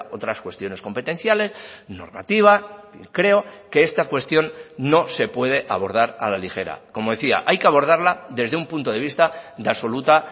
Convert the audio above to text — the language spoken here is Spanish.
otras cuestiones competenciales normativa creo que esta cuestión no se puede abordar a la ligera como decía hay que abordarla desde un punto de vista de absoluta